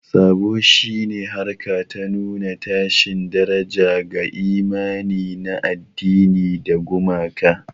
Saɓo shi ne harka ta nuna tashin daraja ga imani na addini da gumaka.